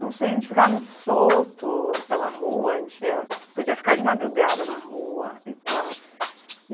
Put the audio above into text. Não sei, a gente ficava muito solto pela rua, a gente podia ficar de madrugada na rua e tal.